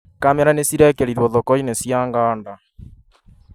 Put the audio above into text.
Kamera nĩ cirekĩrirwo thoko-inĩ cia 'ng and a